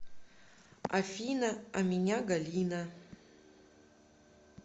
афина а меня галина